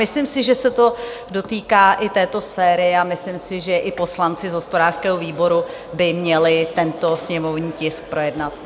Myslím si, že se to dotýká i této sféry a myslím si, že i poslanci z hospodářského výboru by měli tento sněmovní tisk projednat.